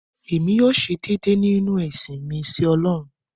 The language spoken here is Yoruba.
Èmi yóò ṣe déédé nínú ìsìn mi sí ọlọ́run.